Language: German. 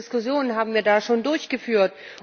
Wie viele Diskussionen haben wir da schon geführt?